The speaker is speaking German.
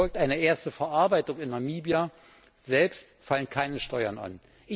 Erfolgt eine erste Verarbeitung in Namibia selbst, fallen keine Steuern an.